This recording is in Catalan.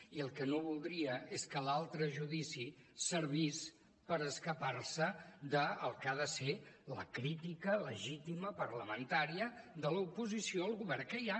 i el que no voldria és que l’altre judici servís per escapar se del que ha de ser la crítica legítima parlamentària de l’oposició al govern que hi ha